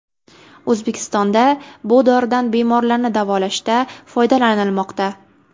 O‘zbekistonda bu doridan bemorlarni davolashda foydalanilmoqda.